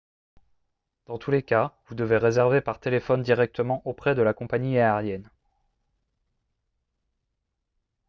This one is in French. dans tous les cas vous devez réserver par téléphone directement auprès de la compagnie aérienne